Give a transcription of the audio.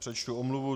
Přečtu omluvu.